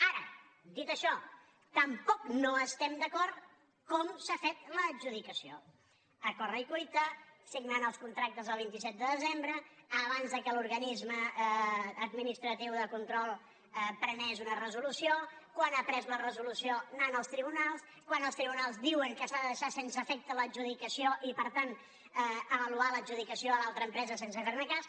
ara dit això tampoc no estem d’acord com s’ha fet l’adjudicació a corre cuita signant els contractes el vint set de desembre abans que l’organisme administratiu de control prengués una resolució quan ha pres la resolució anant als tribunals quan els tribunals diuen que s’ha de deixar sense efecte l’adjudicació i per tant avaluar l’adjudicació a l’altra empresa sense fer ne cas